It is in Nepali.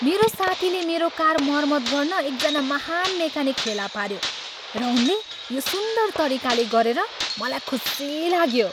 मेरो साथीले मेरो कार मरमत गर्न एकजना महान् मेकानिक फेला पाऱ्यो र उनले यो सुन्दर तरिकाले गरेर मलाई खुशी लाग्यो।